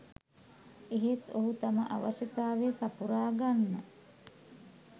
එහෙත් ඔහු තම අවශ්‍යතාවය සපුරා ගන්න